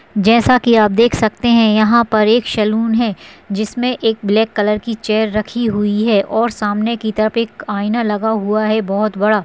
जैसा की आप देख सकते है यहाँ पर एक सलून है जिसमे एक ब्लैक कलर की चेयर रखी हुई है और सामने की तरफ एक आइना लगा हुआ है बहोत बड़ा।